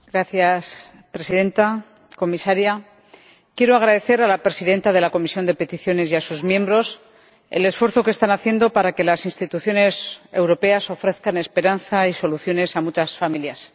Señora Presidenta, señora Comisaria, quiero agradecer a la presidenta de la Comisión de Peticiones y a sus miembros el esfuerzo que están haciendo para que las instituciones europeas ofrezcan esperanza y soluciones a muchas familias.